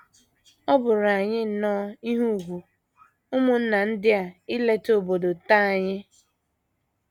Ọ bụụrụ anyị nnọọ ihe ùgwù, ụmụnna ndị a ileta obodo nta anyị.